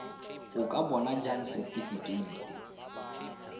o ka bona jang setifikeite